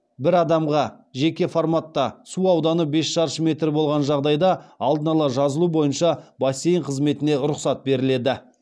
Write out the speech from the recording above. бір адамға жеке форматта су ауданы бес шаршы метр болған жағдайда алдын ала жазылу бойынша бассейн қызметіне рұқсат беріледі